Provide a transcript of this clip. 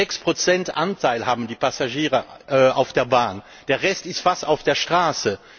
6 Anteil haben die Passagiere auf der Bahn, der Rest ist fast auf der Straße.